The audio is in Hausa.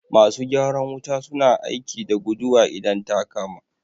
Masu gyaran wuta su na aiki da guduwa idan ta kama